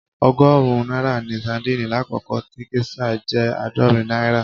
Ọgọ́rùn-ún náírà ni sadíìnì lákòókò tí géṣà jẹ́ àádọ́rin náírà.